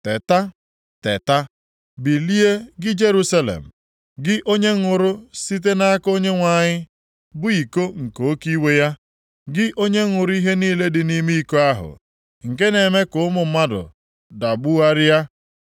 Teta, teta, bilie gị Jerusalem, gị onye ṅụrụ site nʼaka Onyenwe anyị, bụ iko nke oke iwe ya. Gị onye ṅụrụ ihe niile dị nʼime iko ahụ nke na-eme ka ụmụ mmadụ dagbugharịa.